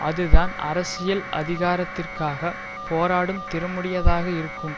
அதுதான் அரசியல் அதிகாரத்திற்காக போராடும் திறமுடையதாக இருக்கும்